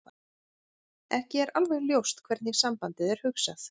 Ekki er alveg ljóst hvernig sambandið er hugsað.